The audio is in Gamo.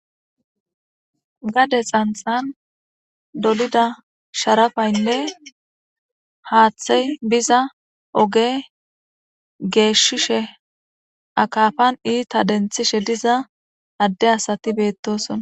gade xanthan dolida sharafaynne haaththey biza oge geeshshishe akafan iita denthishe diza adde asati beettosona